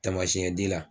Tamasiyɛn la